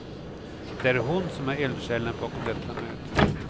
Det är hon som är eldsjälen bakom detta möte.